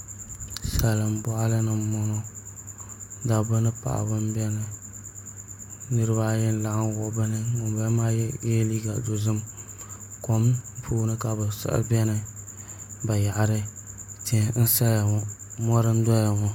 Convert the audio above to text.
Salin boɣali ni n boŋo dabba ni paɣaba n biɛni nirabaayi n wuhuriba ka yinga maa yɛ liiga dozim kom puuni ka bi siɣi biɛni bayaɣari tihi n saya ŋo mori n doya ŋo